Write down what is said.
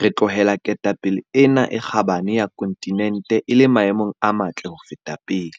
re tlohela ketapele ena e kgabane ya kontinente e le maemong a matle ho feta pele.